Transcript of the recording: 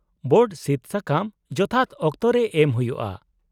-Board ᱥᱤᱫᱥᱟᱠᱟᱢ ᱡᱚᱛᱷᱟᱛ ᱚᱠᱛᱚᱨᱮ ᱮᱢ ᱦᱩᱭᱩᱜᱼᱟ ᱾